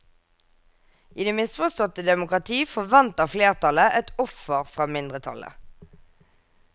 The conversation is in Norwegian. I det misforståtte demokrati forventer flertallet et offer fra mindretallet.